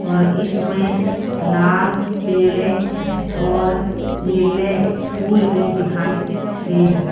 और इसमें लाल पीले और नीले फूल भी दिखाई दे --